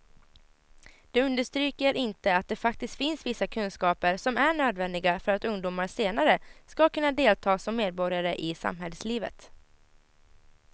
De understryker inte att det faktiskt finns vissa kunskaper som är nödvändiga för att ungdomar senare ska kunna delta som medborgare i samhällslivet.